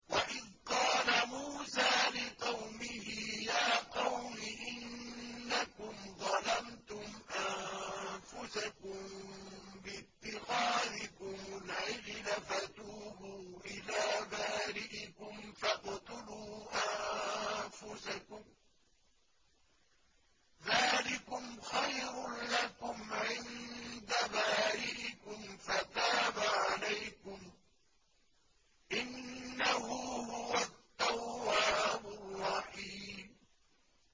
وَإِذْ قَالَ مُوسَىٰ لِقَوْمِهِ يَا قَوْمِ إِنَّكُمْ ظَلَمْتُمْ أَنفُسَكُم بِاتِّخَاذِكُمُ الْعِجْلَ فَتُوبُوا إِلَىٰ بَارِئِكُمْ فَاقْتُلُوا أَنفُسَكُمْ ذَٰلِكُمْ خَيْرٌ لَّكُمْ عِندَ بَارِئِكُمْ فَتَابَ عَلَيْكُمْ ۚ إِنَّهُ هُوَ التَّوَّابُ الرَّحِيمُ